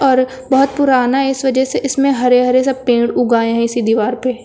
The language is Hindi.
और बहुत पुराना इस वजह से इसमें हरे हरे सब पेड़ उग आये हैं इसी दीवार पे।